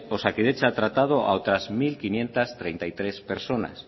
osakidetza ha tratado a otras mil quinientos treinta y tres personas